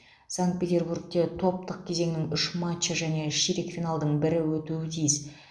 санкт петербургте топтық кезеңнің үш матчы және ширек финалдың бірі өтуі тиіс